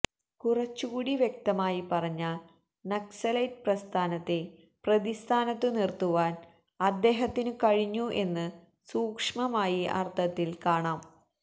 കുറച്ചുകൂടി വ്യക്തമായി പറഞ്ഞാല് നക്സലൈറ്റ് പ്രസ്ഥാനത്തെ പ്രതിസ്ഥാനത്തു നിര്ത്തുവാന് അദ്ദേഹത്തിനു കഴിഞ്ഞു എന്ന് സൂക്ഷ്മമായ അര്ഥത്തില് കാണാം